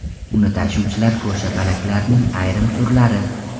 Uni tashuvchilar ko‘rshapalaklarning ayrim turlari.